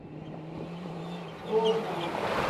ротнова